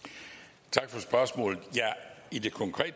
tak for spørgsmål